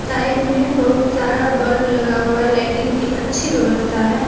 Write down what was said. Side में बहुत सारा बल्ब लगा हुआ है लाइटिंग की अच्छी व्यवस्था है।